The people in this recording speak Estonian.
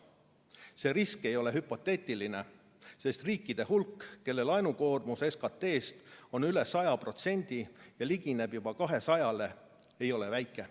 See risk ei ole hüpoteetiline, sest riikide hulk, kelle laenukoormus SKT-st on üle 100% ja ligineb juba 200%-le, ei ole väike.